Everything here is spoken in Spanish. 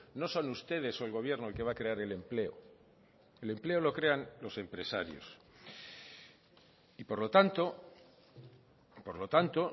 no son ustedes o el gobierno el que va a crear el empleo el empleo lo crean los empresarios y por lo tanto por lo tanto